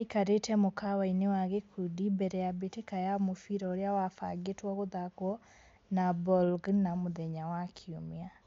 Aikarĩte mũkawa-inĩ wa gĩkundi mbere ya mbĩtĩka ya mũbira ũrĩa wabangĩtwo gũthakwo na Bologna mũthenya wa Kiumia.